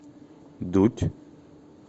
дудь